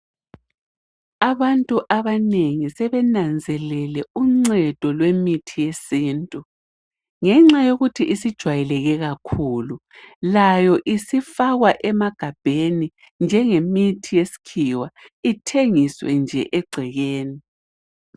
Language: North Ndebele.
Abantu abanengi sebenanzelele uncedo lwemithi yesintu , ngenxa yokuthi isijwayeleke kakhulu layo isifakwa emagabheni njengemithi yesikhiwa ithengiswe nje egcekeni.